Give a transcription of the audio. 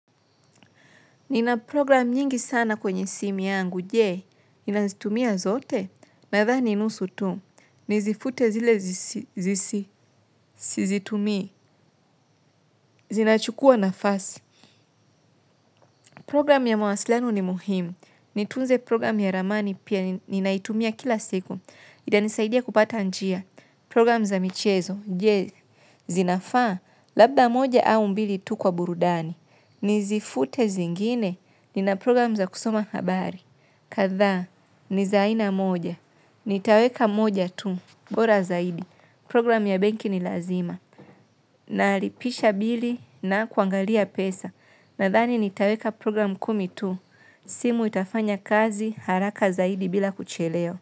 Nina programu nyingi sana kwenye simi yangu, je, ninazitumia zote, nadhani nusu tu, nizifute zile sizitumii zinachukua nafasi. Program ya mwasilano ni muhimu, nitunze program ya ramani pia ninaitumia kila siku, itanisaidia kupata njia. Program za michezo, je, zinafaa, labda moja au mbili tu kwa burudani, nizifute zingine, nina program za kusoma habari. Kadhaa ni za aina moja. Nitaweka moja tu bora zaidi. Program ya benki ni lazima. Nalipisha bili na kuangalia pesa. Nadhani nitaweka program kumi tu. Simu itafanya kazi haraka zaidi bila kuchelewa.